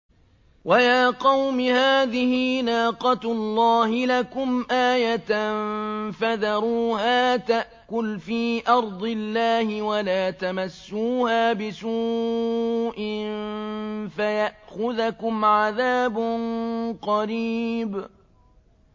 وَيَا قَوْمِ هَٰذِهِ نَاقَةُ اللَّهِ لَكُمْ آيَةً فَذَرُوهَا تَأْكُلْ فِي أَرْضِ اللَّهِ وَلَا تَمَسُّوهَا بِسُوءٍ فَيَأْخُذَكُمْ عَذَابٌ قَرِيبٌ